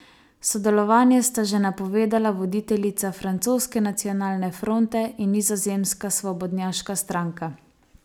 Sodelovanje sta že napovedala voditeljica francoske Nacionalne fronte in nizozemska svobodnjaška stranka.